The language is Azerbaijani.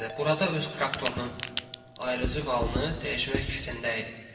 Burada öz traktorunun ayırıcı valını dəyişmək fikrində idi.